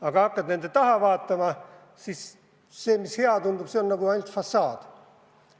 Aga hakkad nende taha vaatama, siis see, mis hea tundub, on nagu paljas fassaad.